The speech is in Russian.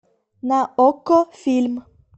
на окко фильм